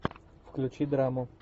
включи драму